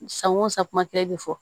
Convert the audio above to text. San o san kuma kelen de fɔ